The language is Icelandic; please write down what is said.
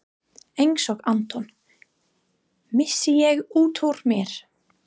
Einsog Anton, missi ég útúr mér.